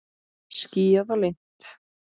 Skýjað og lygnt.